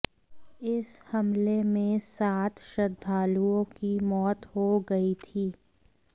इस हमले में सात श्रद्धालुओं की मौत हो गई थी